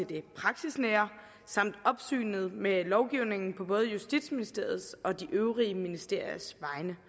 det praksisnære og opsynet med lovgivningen på både justitsministeriets og de øvrige ministeriers